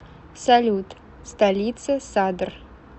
салют столица садр